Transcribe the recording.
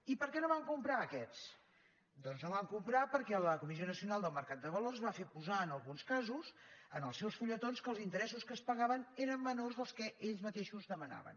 i per què no van comprar aquests doncs no van comprar perquè la comissió nacional del mercat de valors va fer posar en alguns casos en els seus fulletons que els interessos que es pagaven eren menors dels que ells mateixos demanaven